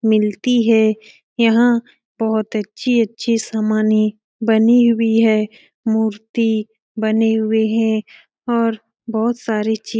मिलती है यहाँ बहुत अच्छी-अच्छी समाने बनी हुई है मूर्ती बने हुए हैं और बहुत सारे चे --